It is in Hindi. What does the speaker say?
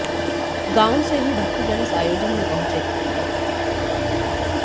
गावों से भी भक्तजन इस आयोजन में पहुंचे थे